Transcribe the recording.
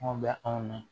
Anw bɛ anw na